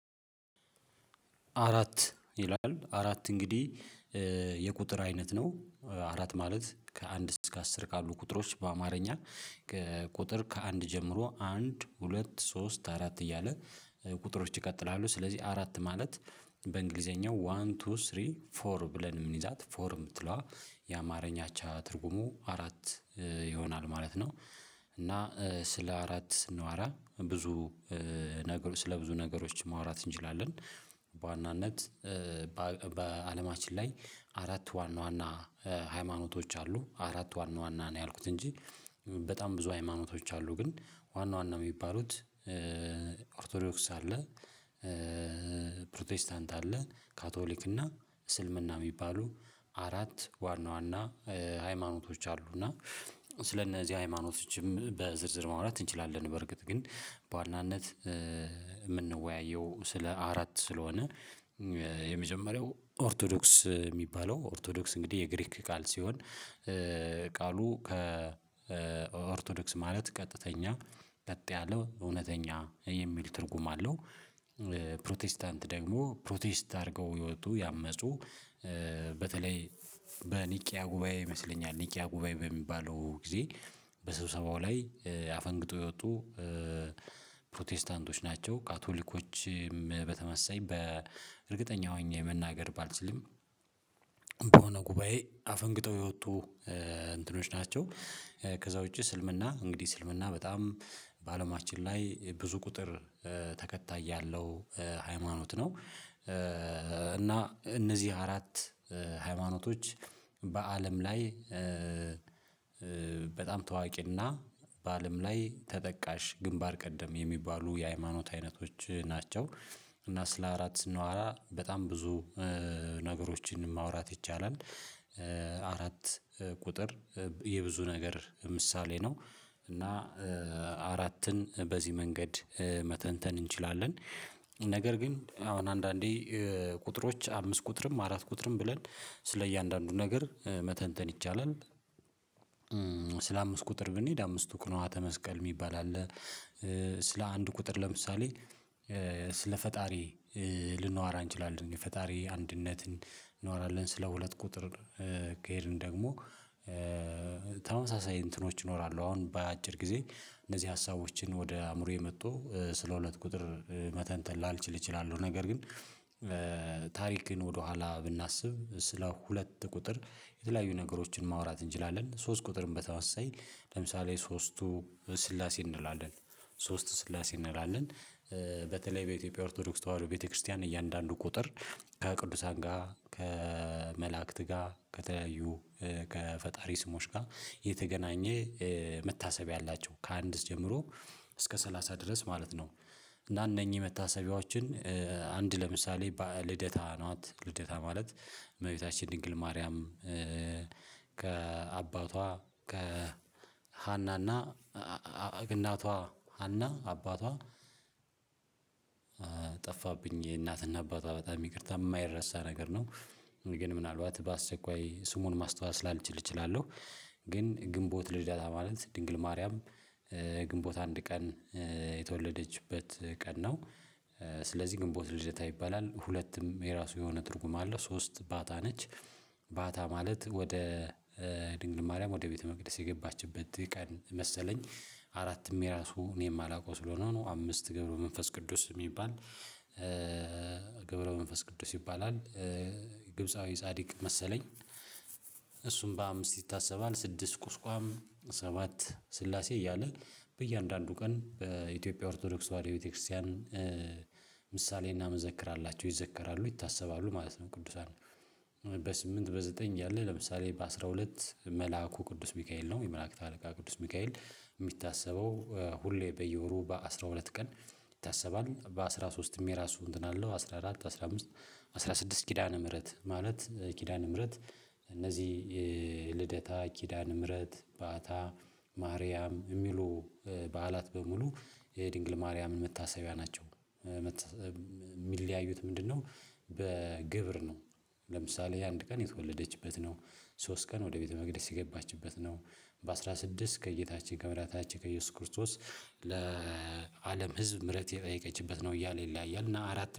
አራት ይላል አራት እንግዲህ የቁጥር አይነት ነው። አራት ማለት ከአንድ እስከ አስር ካሉ ቁጥሮች በአማርኛ ቁጥር ከአንድ ጀምሮ አንድ ሁለት ሶስት አራት እያለ ቁጥሮች ይቀጥላሉ። ስለዚህ አራት ማለት በእንግሊዘኛው ዋን ቱ ስሪ ፎር ብለን የምንይዛት ፎር የምትለዋ የአማርኛ አቻ ትርጉሙ አራት ይሆናል ማለት ነው። እና ስለ አራት ስንዋራ ብዙ ነገሮች ስለ ብዙ ነገሮች ማውራት እንችላለን። በዋናነት በአለማችን ላይ አራት ዋና ዋና ሃይማኖቶች አሉ። አራቱ ዋና ዋና ነው ያልኩት እንጂ በጣም ብዙ ሃይማኖቶች አሉ ግን ዋና ዋና የሚባሉት አርቶዶክስ አለ ፕሮቴስታንት አለ ካቶሊክ እና እስልምና የሚባሉ አራት ዋና ዋና ሃይማኖቶች አሉ። እና ስለእነዚህ ሃይማኖቶችም በዝርዝር ማውራት እንችላለን በርግጥ ግን በዋናነት የምንወያየው ስለ አራት ስለሆነ። የመጀመሪያው ኦርቶዶክስ የሚባለው ኦርቶዶክስ እንግዲህ የግሪክ ቃል ሲሆን ቃሉ ከኦርቶዶክስ ማለት ቀጥተኛ በጥ ያለው እውነተኛ የሚል ትርጉም አለው። ፕሮቴስታንት ደግሞ ፕሮቴስት አድርገው ህይወቱ ያመጹ። በተለይ በኒቂያ ጉባኤ ይመስለኛል ኒቂያ ጉባኤ በሚባለው ጊዜ በሰው ሰባው ላይ ያፈንግጡ የወጡ ፕሮቴስታንቶች ናቸው። ካቶሊኮች በተመሰየኝ በእርግጠኛ ሆኜ መናገር ባልችልም በሆነ ጉባኤ አፈንግጠው የወጡ እንትኖች ናቸው። ከዛ ውጪ እስልምና እንግዲህ ስልምና በጣም በአለማችን ላይ ብዙ ቁጥር ተከታይ ያለው ሃይማኖት ነው። እና እነዚህ አራት ሃይማኖቶች በአለም ላይ በጣም ታዋቂና በአለም ላይ ተጠቃሽ ግንባር ቀደም የሚባሉ የሃይማኖት አይነቶች ናቸው። እና ስለ አራት ስናወራ በጣም ብዙ ነገሮችን ማውራት ይቻላል። አራት ቁጥር የብዙ ነገር ምሳሌ ነው እና አራትን በዚህ መንገድ መተንተን እንችላለን። ነገር ግን አሁን አንዳንዴ ቁጥሮች አምስት ቁጥርም አራት ቁጥርም ብለን ስለእያንዳንዱ ነገር መተንተን ይቻላል። ስለ አምስት ቁጥር ብንሄድ አምስቱ ቅንዋተ ተመስቀል የሚባል አለ። ስለ አንድ ቁጥር ለምሳሌ ስለ ፈጣሪ ልናወራ እንችላለን ፈጣሪ አንድነት እንኖራለን ስለ ሁለት ቁጥር ከሄድን ደግሞ ተመሳሳይ እንትኖች ይኖራሉ አሁን በአጭር ጊዜ እነዚህ ሀሳቦችን ወደ አእምሮዬ መጥቶ ስለ ሁለት ቁጥር መተንተን ላልችል እችላለሁ። ነገር ግን ታሪክን ወደኋላ ብናስብ ስለ ሁለት ቁጥር የተለያዩ ነገሮችን ማውራት እንችላለን። ሶስት ቁጥርም በተወሰነ ለምሳሌ ሶስቱ ስላሴ እንላለን ሶስት ስላሴ እንላለን። በተለይ በኢትዮጵያ ኦርቶዶክስ ተዋህዶ ቤተክርስቲያን እያንዳንዱ ቁጥር ከቅዱሳን ጋር ከመላእክት ጋር ከተለዩ ከፈጣሪ ስሞች ጋር የተገናኘ መታሰቢያ አላቸው ከአንድስ ጀምሮ እስከ ሰላሳ ድረስ ማለት ነው። እና እነኚህ መታሰቢያዎችን አንድ ለምሳሌ ልደታ ነው ልደታ ማለት እመቤታችን ድንግል ማርያም። ከአባቷ ከሃናና እናቷ አና አባቷ ጠፋብኝ የእናቷን አባቷ በጣም ይቅርታ የማይረሳ ነገር ነው። ግን ምናልባት በአሰቃይ ስሙን ማስተዋስ ላልችል እችላለሁ። ግን ግንቦት ልደታ ማለት ድንግል ማርያም ግንቦት አንድ ቀን የተወለደችበት ቀን ነው። ስለዚህ ግንቦት ልደታ ይባላል ሁለቱም የራሱ የሆነ ትርጉም አለ ሶስት ባታ ነች። ባታ ማለት ወደ ድንግል ማርያም ወደ ቤተመቅደስ የገባችበት ቀን መሰለኝ አራትም የራሱ እኔም አላውቀው ስለሆነ ነው። አምስት ገብረው መንፈስ ቅዱስ የሚባል ገብረው መንፈስ ቅዱስ ይባላል። ግብፃዊ ጻድቅ መሰለኝ እሱም በአምስት ይታሰባል። ስድስት ቁስቋም ሰባት ስላሴ እያለ በእያንዳንዱ ቀን በኢትዮጵያ ኦርቶዶክስ ወደ ቤተክርስቲያን ምሳሌ እናመዘክራላቸው ይዘከራሉ ይታሰባሉ ማለት ነው። ቅዱሳን በስምንት በዘጠኝ ያለ ለምሳሌ በአስራ ሁለት መልአኩ ቅዱስ ሚካኤል ነው። የመላእክት አለቃ ቅዱስ ሚካኤል የሚታሰበው ሁሌ በየወሩ በአስራ ሁለት ቀን ይታሰባል። በአስራ ሶስትም የራሱ እንትን አለው አስራ አራት አስራ አምስት አስራ ስድስት ኪዳነ ምህረት ማለት ኪዳነ ምህረት እነዚህ ልደታ ኪዳነ ምህረት ባታ ማርያም የሚሉ በዓላት በሙሉ የድንግል ማርያምን መታሰቢያ ናቸው። የሚለዩዠያዩት ምንድነው? በግብር ነው። ለምሳሌ አንድ ቀን የተወለደችበት ነው። ሶስት ቀን ወደ ቤተ መቅደስ የገባችበት ነው። በአስራ ስድስት ከጌታችን ከመዳህኒታችን ከኢየሱስ ክርስቶስ ለአለም ህዝብ ምህረት የጠየቀችበት ነው። እያለ ይለያያል እና አራት